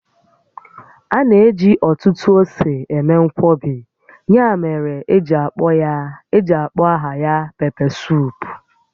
A na-eji ọtụtụ ose eme nkwọbi, ya mere eji akpọ aha ya..pepesuup